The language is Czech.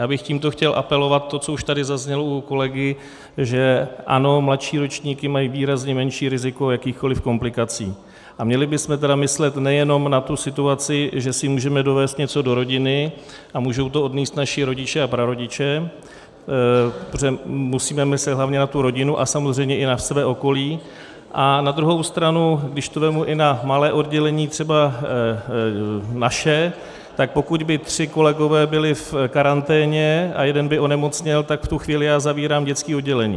Já bych tímto chtěl apelovat - to, co už tady zaznělo u kolegy, že ano, mladší ročníky mají výrazně menší riziko jakýchkoliv komplikací, a měli bychom tedy myslet nejenom na tu situaci, že si můžeme dovézt něco do rodiny a můžou to odnést naši rodiče a prarodiče, protože musíme myslet hlavně na tu rodinu a samozřejmě i na své okolí, a na druhou stranu když to vezmu i na malé oddělení třeba naše, tak pokud by tři kolegové byli v karanténě a jeden by onemocněl, tak v tu chvíli já zavírám dětské oddělení.